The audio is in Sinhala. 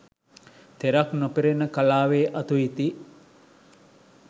තෙරක් නොපෙනෙන කලාවේ අතු ඉති